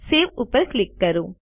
save ઉપર click કરો